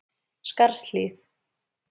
Skarðshlíð